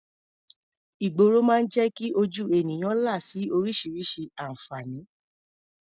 Ìgboro máa ń jẹ́ kí ojú ènìyàn là sí oríṣiríṣi àǹfààní.